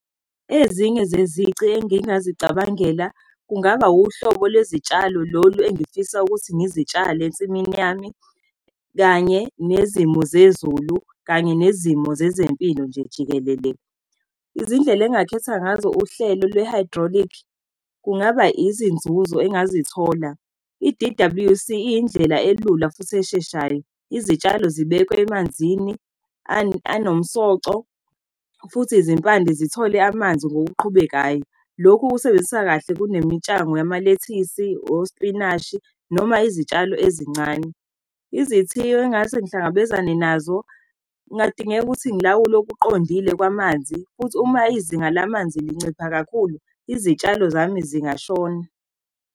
Ezinye zezici engingazicabangela kungaba uhlobo lwezitshalo, lolu engifisa ukuthi ngizitshale ensimini yami, kanye nezimo zezulu, kanye nezimo zezempilo nje jikelele. Izindlela engakhetha ngazo uhlelo lwe-hydraulic kungaba izinzuzo engazithola. I-D_W_C iy'ndlela elula futhi esheshayo. Izitshalo zibekwe emanzini anomsoco futhi izimpande zithole amanzi ngokuqhubekayo. Lokhu kusebenzisa kahle kunemitshango yamalethisi, ospinashi, noma izitshalo ezincane. Izithiyo engase ngihlangabezane nazo, kungadingeka ukuthi ngilawule okuqondile kwamanzi, futhi uma izinga lamanzi lincipha kakhulu, izitshalo zami zingashona.